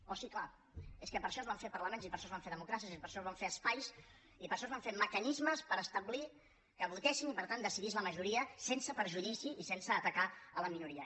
oh sí clar és que per això es van fer parlaments i per això es van fer democràcies i per això es van fer espais i per això es van fer mecanismes per establir que votéssim i per tant decidís la majoria sense perjudici i sense atacar la minoria